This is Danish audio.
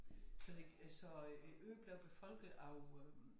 Så det øh så øh æ ø blev befolket af øh